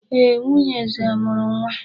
Ee, nwunye eze mụrụ nwa.